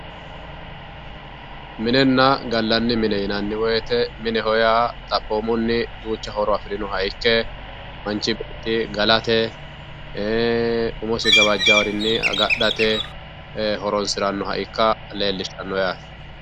Minenna gallanni mine yinnanni woyte mineho yaa xaphomunni duucha horo afirinoha ikke manchi beetti galate e"e umosi gawajarinni agadhate e"e horonsiranoha ikka leellishano yaate.